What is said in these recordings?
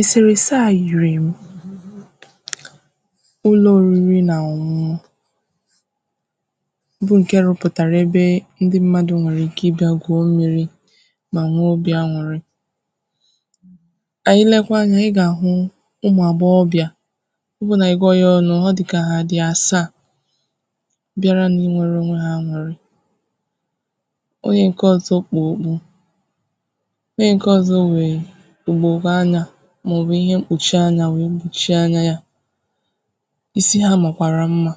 Eserese à yiri m ụlọ oriri na ọn̄ụn̄ụ̀ ụlọ oriri na ọn̄ụn̄ụ̀ ndị mmadụ̀ nwere ike ịbịà gwuo mmiri ma nwe obì an̄ụrị̀ anyị lekwa anya, ị ga-ahụ ụmụ agbọghọbịà ọ bụ na ị gụọ ya ọnụ̀, ọ dịkà dị asaa bịarà na inwere onwe ha an̄u̇rị onye nke ọzọ̀ kpu ogbù onye nke ọzọ nwee ugbogbo anya maọ̀bụ̀ ihe mkpuchi anya wee kpuchi anya yà isi ya makwara mma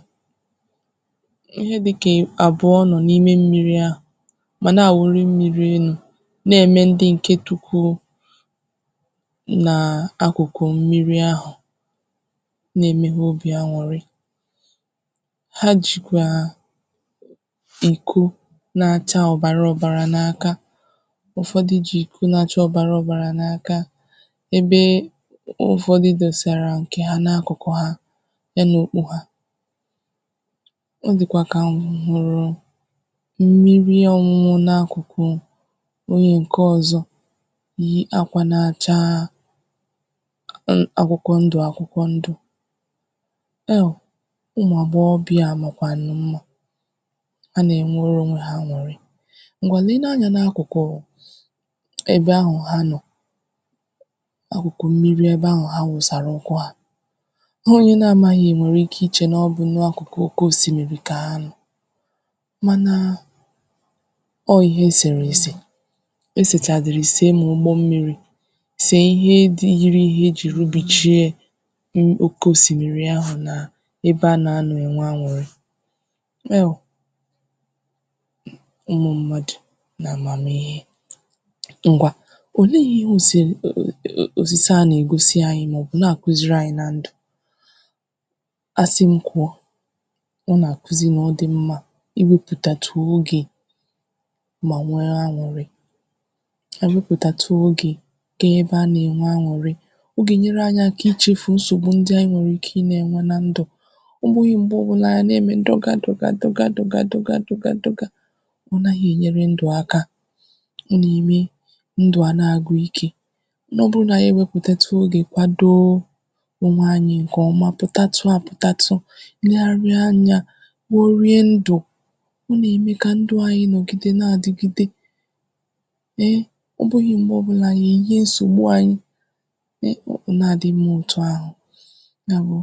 ihe dịkà abụọ̀ nọ̀ n’ime mmiri à manà awuri mmiri enu na-eme ndị nke tukwurù n’akụkụ̀ mmiri ahụ na-eme ha obì an̄ụrị̀ ha jikwaa nko na-acha ọbara ọbarà n’akà ụfọdụ̀ ji nke na-achà ọbara obarà n’akà ebe e ụfọdụ̀ dosara nke ha n’akụkụ̀ ha n’enu okpo ha ọ dịkwà ka m hụrụ̀ mmiri ọn̄ụn̄ụ n’akụkụ̀ onye nke ọzọ̀ yii akwà na-achaa n akwụkwọ̀ ndụ̀ akwụkwọ̀ ndụ̀ e o ụmụ agbọghọbịà makwanụ̀ mma hana-enwere onwe ha an̄ụrị̀ ngwà leenù anya n’akụkụ̀ ebe ahụ̀ ha nọ̀ akụkụ̀ mmiri ebe ahụ ha wụsara ụkwụ̀ ha onye na-amaghị̀ nwere ike iche na ọbụ̀ n’akụkụ̀ oke osimmiri ka nọ̀ manaa ọ ihe eseresè esechadiri sē ma ụgbọ̀ mmiri sē ihe dị yiri ihe e jiri ubi chie m oke osimmiri ahụ̀ na ebe a na nọ̀ enwe an̄ụrị̀ e o ụmụ mmadụ̀ na amamihe ngwa o lee ihe o serē ọ ọ osisi a na-egosi anyị̀ maọ̀bụ̀ na-akuziri anyi na ndụ a sị m kwuo ọ na-akuzi na ọ dị̀ mma iweputatù oge ma nwe an̄ụrị̀ eweputatụ̀ oge kee ebe a na-enwe an̄ụrị̀ ọ ga-enyere anyị̀ akà ịchịfụ̀ nsogbù ndị anyị̀ nwere ike ị na-enwe na ndụ̀ ọ bụghị̀ mgbe ọbụlà a na-eme dọgà dọgà dọgà dọgà dọgà ọ naghị̀ enyere ndụ̀ akà ọ na-eme ndụ̀ a na-agwụ̀ ike na ọ bụrụ̀ na anyị̀ eweputatù oge kwadoo onwe anyị̀ nke ọmà pụtatụ apụtatụ̀ negharị anya kporie ndụ ọ na-eme ka ndụ anyị nọgide na-adigide nee ọ bụghị̀ mgbe ọbụlàanyị̀ eyie nsogbu anyị n’ihi, ọ na-adị mma otù ahụ ya bụ̀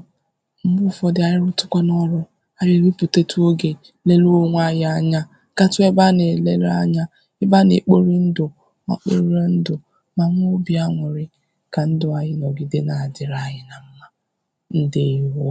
mgbe ụfọdụ̀ anyị rutukwanù ọrụ̀ anyị̀ eweputatù oge melu onwe anyị anya katụ̀ ebe a na-elelu anya ebe a na-ekpori ndụ̀ ma kpoire ndụ̀ ma new obì an̄ụrị̀ ka ndụ̀ anyị nọgide na-adịrị anyị na mma. Ndewo!